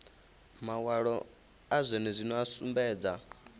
mawalo a zwenezwino a sumbedza